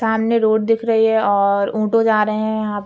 सामने रोड दिख रही है और ऊंटो जहाँ रहे हैं यहाँ।